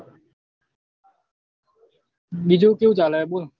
બીજું કેવું ચાલે બોલ